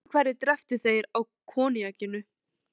Öðru hverju dreyptu þeir á koníakinu.